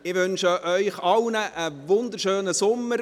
Ich wünsche Ihnen allen einen wunderschönen Sommer.